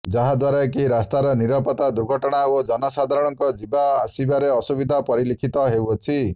ଯାହାଦ୍ୱାରା କି ରାସ୍ତାର ନିରାପତ୍ତା ଦୁର୍ଘଟଣା ଓ ଜନସାଧାରଣଙ୍କ ଯିବା ଆସିବାରେ ଅସୁବିଧା ପରିଲକ୍ଷିତ ହେଉଅଛି